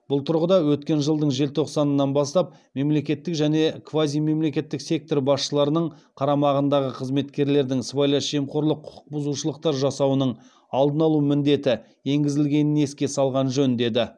бұл тұрғыда өткен жылдың желтоқсанынан бастап мемлекеттік және квазимемлекеттік сектор басшыларының қарамағындағы қызметкерлердің сыбайлас жемқорлық құқықбұзушылықтар жасауының алдын алу міндеті енгізілгенін еске салған жөн деді